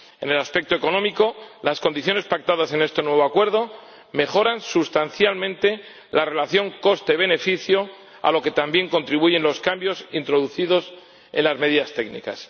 En el aspecto económico, las condiciones pactadas en este nuevo Acuerdo mejoran sustancialmente la relación coste beneficio, a lo que también contribuyen los cambios introducidos en las medidas técnicas.